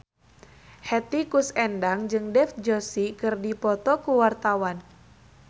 Hetty Koes Endang jeung Dev Joshi keur dipoto ku wartawan